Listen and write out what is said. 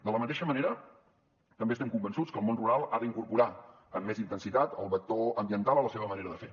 de la mateixa manera també estem convençuts que el món rural ha d’incorporar amb més intensitat el vector ambiental a la seva manera de fer